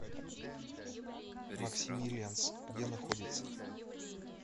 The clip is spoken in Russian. максимилианс где находится